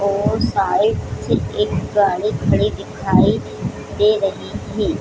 और साइड से एक गाड़ी खड़ी दिखाई दे रही थी।